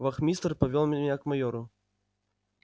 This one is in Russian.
вахмистр повёл меня к майору